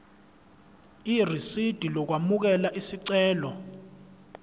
irisidi lokwamukela isicelo